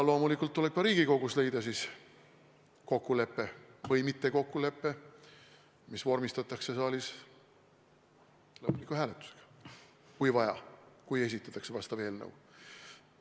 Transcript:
Loomulikult tuleb ka Riigikogus leida kokkulepe või mittekokkulepe, mis vormistatakse saalis lõpphääletusel – kui vaja, esitatakse vastav eelnõu.